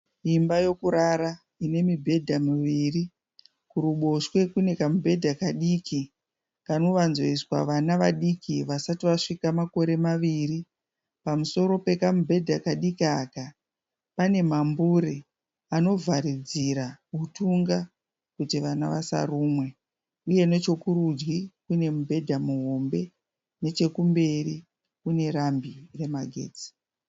Imba yekurara inemibhedha miviri, kuruboshwe kune kamubhedha kadiki anowanzoiswa vana vadiki vasati vasvika makore maviri, pamusoro pekamubhedha kadiki aka panemambure anovharidzira utunga kuti vana vasarumwe, uye nechekurudyi kune mubhedha muhombe nechekumberi kunerambi.